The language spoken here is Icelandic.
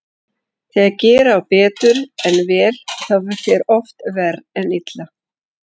Þegar gera á betur en vel þá fer oft verr en illa.